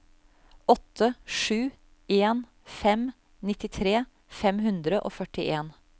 åtte sju en fem nittitre fem hundre og førtien